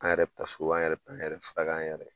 An yɛrɛ bɛ taa so an yɛrɛ bɛ an yɛrɛ furakɛ an yɛrɛ